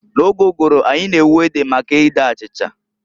N'oge ụgụrụ anyị na-ewu ede for ede achicha.